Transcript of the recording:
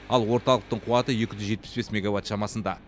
ал орталықтың қуаты екі жүз жетпіс бес мегаватт шамасында